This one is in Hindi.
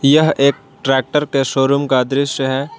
यह एक ट्रैक्टर के शोरूम का दृश्य है।